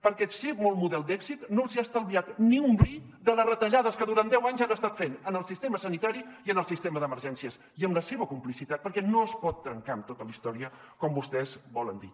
perquè ser bon model d’èxit no els ha estalviat ni un bri de les retallades que durant deu anys han estat fent en el sistema sanitari i en el sistema d’emergències i amb la seva complicitat perquè no es pot trencar amb tota la història com vostès volen dir